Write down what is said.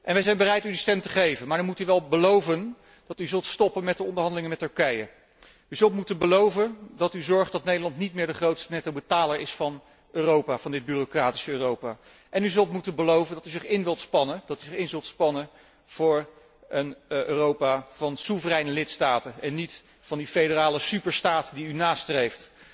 Wij zijn bereid u die stem te geven, maar dan moet u wel beloven dat u zult stoppen met de onderhandelingen met Turkije, u zult moeten beloven dat u zorgt dat Nederland niet meer de grootste nettobetaler is van Europa, van dit bureaucratische Europa en u zult moeten beloven dat u zich in zult spannen voor een Europa van soevereine lidstaten en niet van de federale superstaat die u nastreeft.